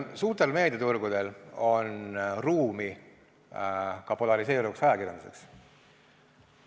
Suurtel meediaturgudel on ruumi ka polariseeruvaks ajakirjanduseks.